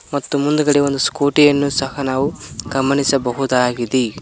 ಮತ್ತು ಮುಂದುಗಡೆ ಒಂದು ಸ್ಕೂಟಿ ಯನ್ನು ಸಹ ನಾವು ಗಮನಿಸಬಹುದಾಗಿದೆ.